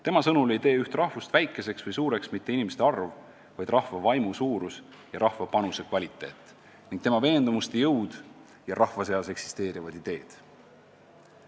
Tema sõnul ei tee üht rahvast väikeseks või suureks mitte inimeste arv, vaid rahva vaimu suurus ja rahva panuse kvaliteet, tema veendumuste jõud ja rahva seas eksisteerivad ideed.